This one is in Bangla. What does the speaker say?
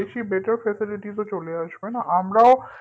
বেশি better facilities ও চলে আসবেনা আমরাও